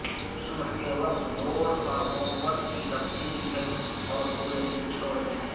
صبح کے وقت بورڈ پر ہوم ورک کی تفسیر لکھیں اور پورے دن چھوڑ دیں